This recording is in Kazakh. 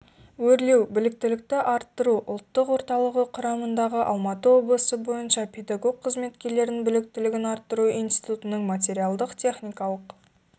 өрлеу біліктілікті арттыру ұлттық орталығы құрамындағы алматы облысы бойынша педагог қызметкерлердің біліктілігін арттыру институтының материалдық-техникалық